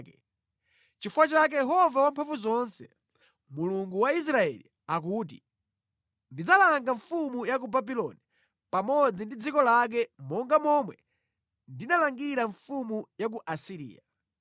Nʼchifukwa chake Yehova Wamphamvuzonse, Mulungu wa Israeli akuti, “Ndidzalanga mfumu ya ku Babuloni pamodzi ndi dziko lake monga momwe ndinalangira mfumu ya ku Asiriya.